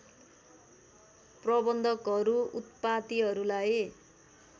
प्रबन्धकहरू उत्पातीहरूलाई